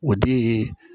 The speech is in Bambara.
O de ye